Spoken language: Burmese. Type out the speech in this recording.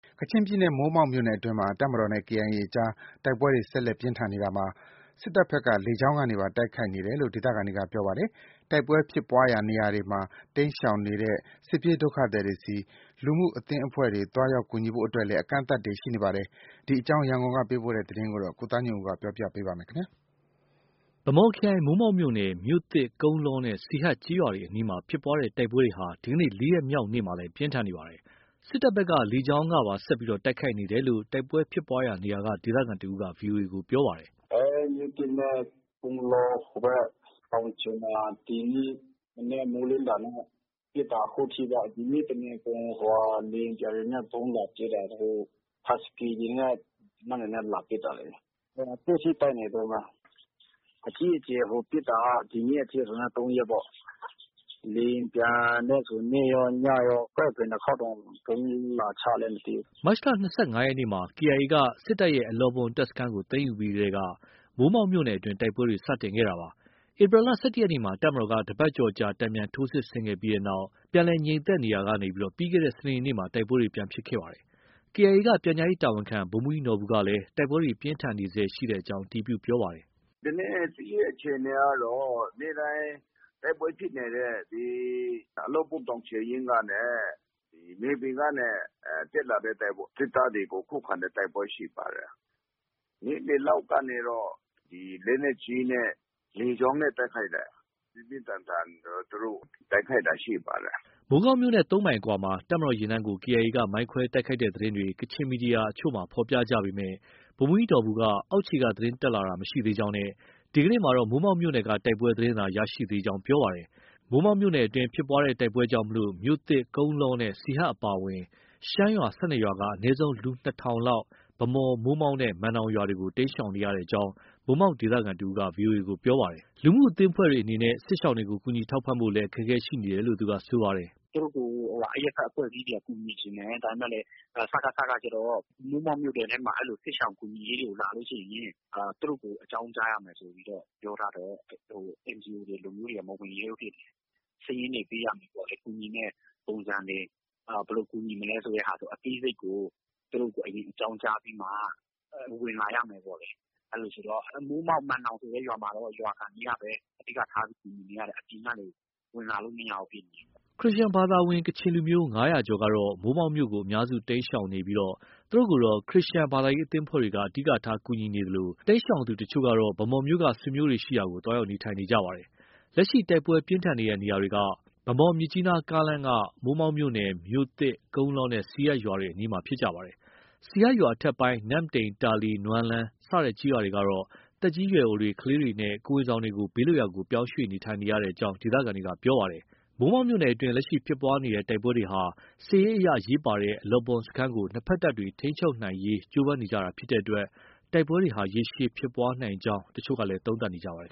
ကချင်ပြည်နယ် မိုးမောက်မြို့နယ်အတွင်းမှာ တပ်မတော်နဲ့ KIA အကြား တိုက်ပွဲတွေ ဆက်လက်ပြင်းထန်နေတာမှာ စစ်တပ်ဘက်က လေကြောင်းကနေပါ တိုက်ခိုက်နေတယ်လို့ ဒေသခံတွေက ပြောပါတယ်။ တိုက်ပွဲဖြစ်ပွားရာနေရာတွေနားမှ တိမ်းရှောင်နေတဲ့ စစ်ပြေးဒုက္ခသည်တွေဆီ လူမှုအသင်းအဖွဲ့တွေ သွားရောက်ကူညီဖို့အတွက်လည်း အကန့်အသတ်တွေ ရှိနေပါတယ်။ ရန်ကုန်က ပေးပို့တဲ့သတင်းကို ကိုသားညွန့်ဦး ပြောပြပါမယ်။ ဗန်းမော်ခရိုင် မိုးမောက်မြို့နယ် မြို့သစ်၊ ကုန်းလောနဲ့ စီဟတ်ကျေးရွာတွေအနီးမှာ ဖြစ်ပွားတဲ့တိုက်ပွဲတွေဟာ ဒီကနေ့ ၄ ရက် မြောက်နေ့မှာလည်း ပြင်းထန်နေပါတယ်။ စစ်တပ်ဘက်က လေကြောင်းကပါ ဆက်လက်တိုက်ခိုက်နေတယ်လို့ တိုက်ပွဲဖြစ်ပွားရာနေရာက ဒေသခံတစ်ဦးက ဗွီအိုအေကို ပြောပါတယ်။ “မြို့သစ်နဲ့ ကုန်းလော ဟိုဘက် တောင်ခြေမှာ ဒီနေ့မနက် မိုးလင်းတာနဲ့ ပစ်တာ ခုထိပဲ။ လေယာဉ်ပျံတွေနဲ့ ဗုံးလာကြဲတာ။ ဟတ်စကီတွေနဲ့ သေနတ်တွေနဲ့ လာပစ်တာလေ။ အခုထိ တိုက်နေတုန်းပဲ။ အကြီးအကျယ်ပစ်တာက ဒီနေ့ အထိဆို ၃ ရက်ပေါ့။ လေယာဉ်ပျံနဲ့ဆို နေ့ရော၊ ညရော ဘယ်နှစ်ခေါက်တောင် ဗုံးလာချလည်း မသိဘူး။ ” မတ်လ ၂၅ လရက်နေ့မှာ KIA က စစ်တပ်ရဲ့ အလောဘွမ်တပ်စခန်းကို သိမ်းယူပြီးထဲက မိုးမောက်မြို့နယ်အတွင်း တိုက်ပွဲတွေ စတင်ခဲ့တာပါ။ ဧပြီလ ၁၁ ရက်နေ့မှာ တပ်မတော်က တစ်ပတ်ကျော်ကြာ တန်ပြန်ထိုးစစ်ဆင်ခဲ့ပြီးနောက် ပြန်လည်ငြိမ်သက်နေရာက ပြီးခဲ့တဲ့စနေနေ့မှာ တိုက်ပွဲတွေ ပြန်ဖြစ်ခဲ့တာပါ။ KIA က ပြန်ကြားရေးတာဝန်ခံ ဗိုလ်မှူးကြီးနော်ဘူကလည်း တိုက်ပွဲတွေ ပြင်းထန်နေဆဲရှိကြောင်း အတည်ပြုပါတယ်။ “ဒီနေ့ စစ်ရေးအခြေအနေကတော့ နေ့တိုင်း တိုက်ပွဲဖြစ်နေတဲ့ ဒီ အလောဘွမ်တောင်ခြေရင်းကနဲ့ မြေပြင်ကနေ တက်လာတဲ့ စစ်သားတွေကို ခုခံတဲ့ တိုက်ပွဲရှိပါတယ်။ နေ့လယ်လောက်ကနေတော့ လက်နက်ကြီးနဲ့ လေကြောင်းနဲ့ တိုက်ခိုက်တဲ့ ပြင်းပြင်းထန်ထန် တိုက်ခိုက်တာ ရှိပါတယ်။” မိုးကောင်းမြို့နဲ့ ၃ မိုင်အကွာမှာ တပ်မတော်ယာဉ်တန်းကို KIA က မိုင်းခွဲတိုက်ခိုက်တဲ့သတင်းတွေ ကချင်သတင်းမီဒီယာတချို့မှာ ဖော်ပြကြပေမဲ့ ဗိုလ်မှူးကြီးနော်ဘူက အောက်ခြေက သတင်းတက်လာတာ မရှိသေးကြောင်းနဲ့ ဒီကနေ့မှာတော့ မိုးမောက်မြို့နယ်က တိုက်ပွဲသတင်းသာ ရရှိသေးကြောင်း ပြောပါတယ်။ မိုးမောက်မြို့နယ်အတွင်း ဖြစ်ပွားတဲ့တိုက်ပွဲကြောင့် မြို့သစ်၊ ကုန်းလောနဲ့ စီဟတ်အပါအဝင် ရှမ်းရွာ ၁၂ ရွာက အနည်းဆုံး လူ ၂,၀၀၀ လောက်ဟာ ဗန်းမော်၊ မိုးမောက်နဲ့ မန်နောင်ရွာတွေကို တိမ်းရှောင်နေရကြောင်း မိုးမောက် ဒေသခံတစ်ဦးက ပြောပါတယ်။ လူမှုအသင်းအဖွဲ့တွေအနေနဲ့ စစ်ရှောင်တွေကို ကူညီထောက်ပံ့ဖို့လည်း အခက်အခဲ ရှိနေတယ်လို့ ပြောပြပါတယ်။ “သူတို့ကို အရပ်ဘက် အဖွဲ့အစည်းတွေက ကူညီချင်တယ်။ ဒါပေမဲ့လည်း စကခကကျတော့ မိုးမောက်မြို့ထဲမှာ အဲဒီလို စစ်ရှောင်ကူညီရေးတွေ လာလို့ ရှိရင် သူတို့ကို အကြောင်းကြားရမယ်ဆိုပြီး ပြောထားတော့ NGO တွေ အဲဒီလိုမျိုးတွေက မဝင်ရဲဘူးဖြစ်နေတာ။ စာရင်းတွေ ပေးရမယ်ပေါ့လေ။ ကူညီမယ့် ပုံစံတွေ၊ ဘယ်လိုကူညီမလဲဆိုတာ အသေးစိတ်ကို သူတို့ကို အရင် အကြောင်းကြားပြီးမှ ဝင်လာရမယ်ပေါ့လေ။ အဲဒီတော့ မိုးမောက်၊ မန်နောင်ဆိုတဲ့ရွာမှာတော့ ရွာခံတွေကပဲ အဓိက ထားပြီး ကူညီနေရတယ်။ အပြင်ကနေ ဝင်လာလို့ မရဘူးဖြစ်နေတယ်။” ခရစ်ယာန်ဝင် ကချင်လူမျိုး ၅၀၀ ကျော်ကတော့ မိုးမောက်မြို့ကို အများစု တိမ်းရှောင်နေပြီး သူတို့ကိုတော့ ခရစ်ယာန်ဘာသာရေးအသင်းအဖွဲ့တွေက အဓိက ကူညီနေသလို တိမ်းရှောင်သူတချို့ကတော့ ဗန်းမော်မြို့က ဆွေမျိုးတွေ ရှိရာကို သွားရောက်နေထိုင်နေနေကြပါတယ်။ လက်ရှိ တိုက်ပွဲပြင်းထန်နေတဲ့ နေရာတွေက ဗန်းမော်- မြစ်ကြီးနားကားလမ်းက မိုးမောက်မြို့နယ် မြို့သစ်၊ ကုန်းလောနဲ့ စီဟတ်ရွာတွေအနီးမှာ ဖြစ်ပါတယ်။ စီဟတ်ရွာအထက်ပိုင်း နမ့်တိန်၊ တာလီ၊ နွမ်းလန်းစတဲ့ကျေးရွာတွေကတော့ သက်ကြီးရွယ်အိုတွေ၊ ကလေးတွေနဲ့ ကိုယ်ဝန်ဆောင်တွေကို ဘေးလွတ်ရာကို ပြောင်းရွှေ့နေထိုင်နေကြရကြောင်း ဒေသခံတွေက ပြောပါတယ်။ မိုးမောက်မြို့နယ်အတွင်း လက်ရှိ ဖြစ်ပွားနေတဲ့ တိုက်ပွဲတွေဟာ စစ်ရေးအရ အရေးပါတဲ့ အလောဘွမ်စခန်းကို နှစ်ဘက်တပ်တွေက ထိန်းချုပ်နိုင်ရေး ကြိုးပမ်းနေကြတာဖြစ်တဲ့အတွက် တိုက်ပွဲတွေဟာ ရေရှည်ဖြစ်ပွားနိုင်ကြောင်း တချို့ကလည်း သုံးသပ်နေကြပါတယ်